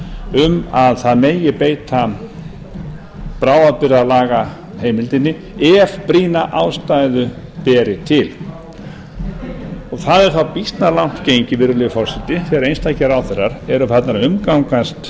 um að það megi beita bráðabirgðalagaheimildinni ef brýna ástæðu beri til það er þá býsna langt gengið virðulegi forseti ef einstakir ráðherrar eru farnir að eru farnir að umgangast